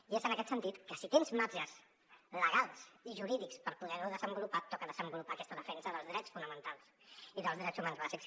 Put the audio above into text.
i és en aquest sentit que si tens marges legals i jurídics per poder ho desenvolupar et toca desenvolupar aquesta defensa dels drets fonamentals i dels drets humans bàsics